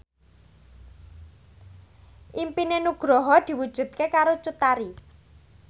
impine Nugroho diwujudke karo Cut Tari